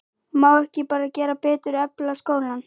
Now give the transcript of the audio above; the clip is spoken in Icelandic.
Má ekki bara gera betur, efla skólann?